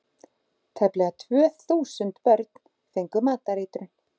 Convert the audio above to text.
Tæplega þúsund börn fengu matareitrun